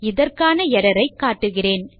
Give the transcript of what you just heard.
இதற்கான எர்ரர் ஐ காட்டுகிறேன்